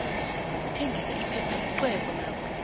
ukuthengisa aphepha lixhwebo nakho